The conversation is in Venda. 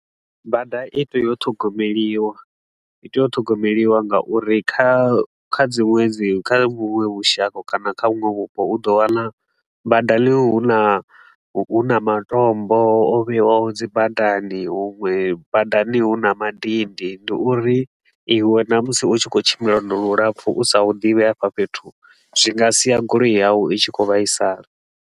Bada itea u ṱhogomeliwa, i tea u ṱhogomeliwa nga uri kha kha dzinwe dzi kha vhunwe vhushaka kana kha vhunwe vhupo u ḓo wana badani hu na hu na matombo o vhewaho dzi badani. Huṅwe badani hu na madindi, ndi uri iwe na musi u tshi khou tshimbila lwendo lulapfu u sa hu ḓivhi hafha fhethu, zwi nga sia goloi yau i tshi khou vhaisala.